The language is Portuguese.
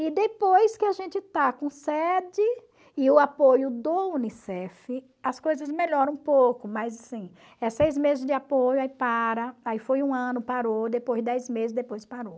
E depois que a gente está com sede e o apoio do Unicef, as coisas melhoram um pouco, mas assim, é seis meses de apoio, aí para, aí foi um ano, parou, depois dez meses, depois parou.